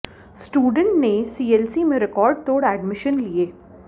student ने CLC में record तोड़ एडमिशन लिए